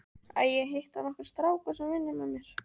Æ, ég hitti nokkra stráka sem vinna með mér.